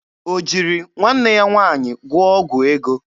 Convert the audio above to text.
O jiri nwanne ya nwaanyị gwụọ ọgwụ ego?